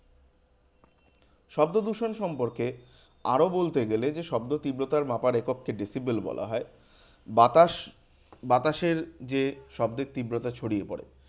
শব্দদূষণ সম্পর্কে আরো বলতে গেলে যে, শব্দের তীব্রতার মাপার একককে decibel বলা হয়। বাতাস বাতাসের যে শব্দের তীব্রতা ছড়িয়ে পরে